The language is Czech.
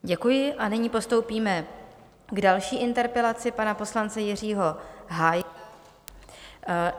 Děkuji a nyní postoupíme k další interpelaci pana poslance Jiřího Hájka.